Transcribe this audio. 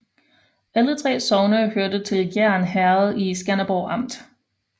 Alle 3 sogne hørte til Gjern Herred i Skanderborg Amt